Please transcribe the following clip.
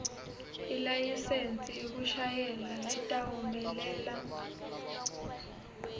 ilayisensi yekushayela letawumelela